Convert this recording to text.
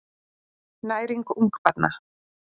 Næring ungbarna.